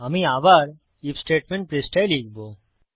আমি আবার IF statement পৃষ্ঠায় লিখব